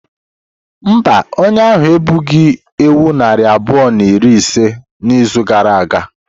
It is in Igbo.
Mba, onye ahụ egbughị ewu narị abụọ na iri ise n'izu gara aga.